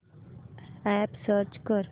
app search कर